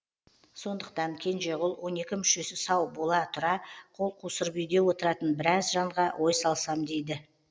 сондықтан кенжеғұл он екі мүшесі сау бола тұра қол қусырып үйде отыратын біраз жанға ой салсам дейді